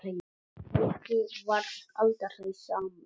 Helgi varð aldrei samur.